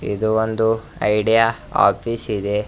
ಇದು ಒಂದು Idea office ಇದೆ.